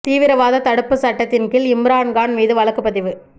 தீவிரவாத தடுப்புச் சட்டத்தின் கீழ் இம்ரான் கான் மீது வழக்குப் பதிவு